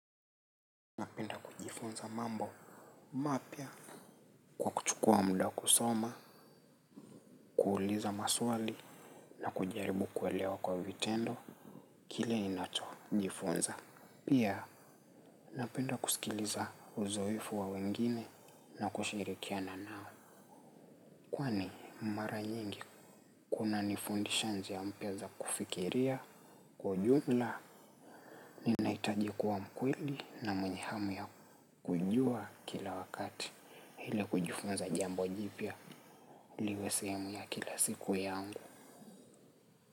Napenda kujifunza mambo mapya kwa kuchukua muda kusoma, kuuliza maswali na kujaribu kuelewa kwa vitendo kile inachk jifunza. Pia napenda kusikiliza uzoefu wa wengine na kushirikiana nao. Kwani mara nyingi kuna ni fundisha njia mpya za kufikiria kwa ujumla ni naitajikuwa mkweli na mwenyehamu ya kujua kila wakati. Ila kujifunza za jambo jipya liwe sehemu ya kila siku yaangu.